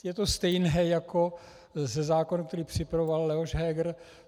Je to stejné jako se zákonem, který připravoval Leoš Heger.